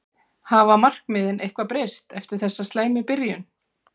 Hafa markmiðin eitthvað breyst eftir þessa slæmu byrjun?